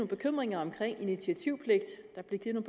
bekymringer om initiativpligt der blev givet